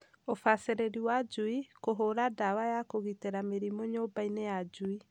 Ubacĩrĩri wa njui ; kũhũra ndawa ya kũgitĩra mĩrimũ nyũmba -inĩ ya njui